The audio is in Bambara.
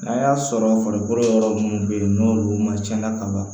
N'a y'a sɔrɔ farikolo yɔrɔ munnu be ye n'olu ma cɛn ka ban